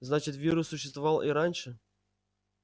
значит вирус существовал и раньше